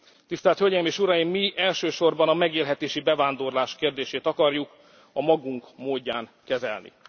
Tisztelt Hölgyeim és Uraim, mi elsősorban a megélhetési bevándorlás kérdését akarjuk a magunk módján kezelni.